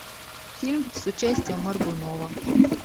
фильм с участием моргунова